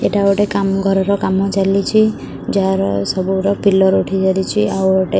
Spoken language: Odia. ଏଇଟା ଗୋଟେ କାମ ଘରର କାମ ଚାଲିଛି ଯାହାର ସବୁର ପିଳର୍ ଉଠିସାରିଛି ଆଉ ଗୋଟେ--